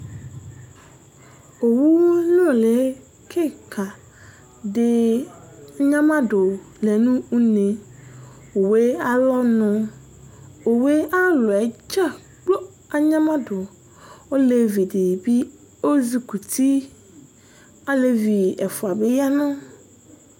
Owunʋli kìka ɖi anyamaɖu lɛŋʋ ʋne Owue alɔŋu Owue ayʋ alɔdzagblo anyamaɖu Ɔlevi ɖìbí ɔzikuti